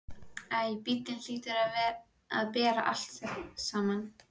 Æ, bíllinn hlýtur að bera þetta allt saman.